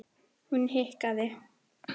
Hún hikaði.